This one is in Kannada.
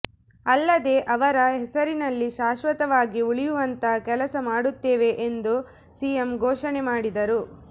ಅಲ್ಲದೇ ಅವರ ಹೆಸರಿನಲ್ಲಿ ಶಾಶ್ವತವಾಗಿ ಉಳಿಯುವಂತಹ ಕೆಲಸ ಮಾಡುತ್ತೇವೆ ಎಂದು ಸಿಎಂ ಘೋಷಣೆ ಮಾಡಿದರು